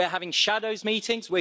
We are having shadows' meetings.